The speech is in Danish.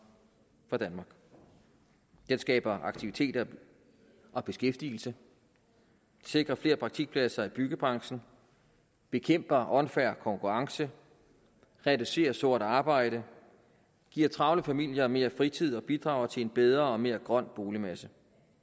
den skaber aktiviteter og beskæftigelse sikrer flere praktikpladser i byggebranchen bekæmper unfair konkurrence reducerer sort arbejde giver travle familier mere fritid og bidrager til en bedre og mere grøn boligmasse